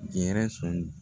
Gɛrɛsɔn